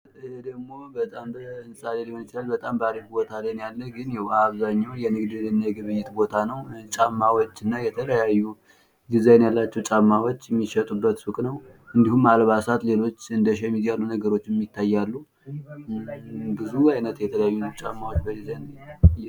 ይሄ ደግሞ በጣም በሕንፃ ሊሆን ይችላል፤ በጣም በአሪፍ ቦታ ላይ ነው ያለው። ግን ይህ አብዛኛውን የንግድና የግብይት ቦታ ነው። ጫማዎች እና የተለያዩ ዲዛይን ያላቸው ጫማዎች የሚሸጡበት ሱቅ ነው። እንዲሁም አልባሳት ሌሎች እንደ ሸሚዝ አይነት ነገሮችም ይታያሉ።